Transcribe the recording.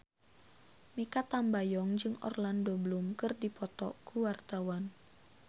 Mikha Tambayong jeung Orlando Bloom keur dipoto ku wartawan